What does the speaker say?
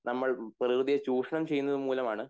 നമ്മൾ പ്രകൃതിയെ ചുഷണം ചെയ്യുന്നതു മൂലം ആണ്